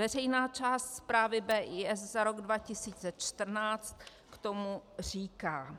Veřejná část zprávy BIS za rok 2014 k tomu říká: